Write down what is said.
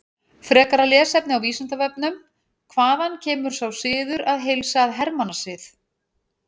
Frekara lesefni á Vísindavefnum: Hvaðan kemur sá siður að heilsa að hermannasið?